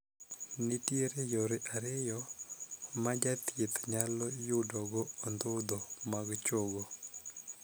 Nitie yore ariyo ma jathieth nyalo yudogo ondhudho mag chogo.